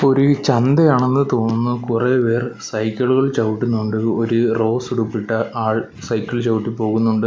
ഒരു ചന്ത ആണെന്ന് തോന്നുന്നു കുറെ പേർ സൈക്കിളുകൾ ചവിട്ടുന്നുണ്ട് ഒരു റോസ് ഉടുപ്പിട്ട ആൾ സൈക്കിൾ ചവിട്ടി പോകുന്നുണ്ട്.